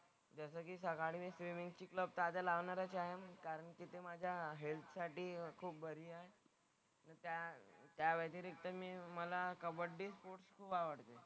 जसं की सकाळी मी स्विमिंगची क्लब तर आता लावणारच आहे. कारण की ते माझ्या हेल्थसाठी खूप बरी आहे. त्या त्याव्यतिरिक्त मी मला कबड्डी स्पोर्ट्स खूप आवडतो.